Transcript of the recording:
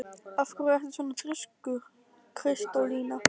Af hverju ertu svona þrjóskur, Kristólína?